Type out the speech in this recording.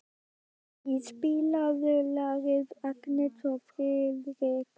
Indí, spilaðu lagið „Agnes og Friðrik“.